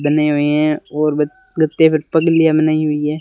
बने हुए हैं और बनाई हुई हैं।